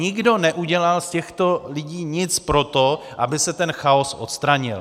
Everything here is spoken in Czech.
Nikdo neudělal z těchto lidí nic pro to, aby se ten chaos odstranil.